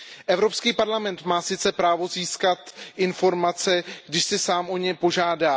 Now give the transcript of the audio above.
Evropský parlament má sice právo získat informace, když o ně sám požádá.